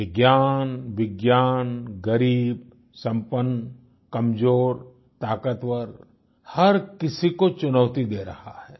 ये ज्ञान विज्ञान गरीब संपन्न कमज़ोर ताक़तवर हर किसी को चुनौती दे रहा है